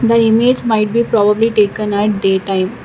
The image might be probably taken at day time.